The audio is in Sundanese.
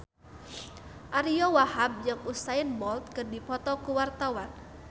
Ariyo Wahab jeung Usain Bolt keur dipoto ku wartawan